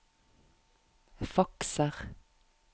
fakser